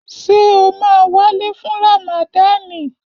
Ṣé o máa wálé fún Ràmàdani?